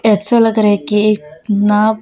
अच्छा लग रहा है कि नाप--